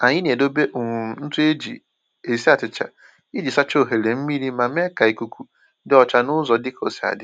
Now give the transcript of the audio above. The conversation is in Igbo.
Anyị na-edobe um ntụ eji esi achịcha iji sachaa oghere mmiri ma mee ka ikuku dị ọcha n’ụzọ dị ka osi adị